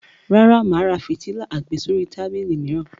Rárá, mà á ra fìtílà àgbésórí tábìlì mìíràn.